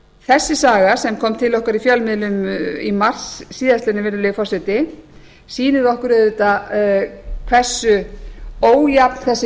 þessi saga sem kom til okkar í fjölmiðlum í mars síðastliðinn virðulegi forseti sýnir okkur auðvitað hversu ójafn þessi